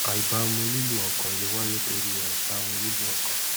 àìbámu lílù ọkàn lè wáyé torí ì àìbámú lihlù ọkàn